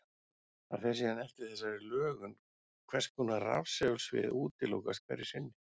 Það fer síðan eftir þessari lögun hvers konar rafsegulsvið útilokast hverju sinni.